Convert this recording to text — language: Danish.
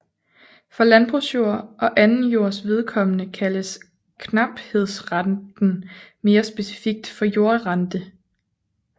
For landbrugsjord og anden jords vedkommende kaldes knaphedsrenten mere specifikt for jordrente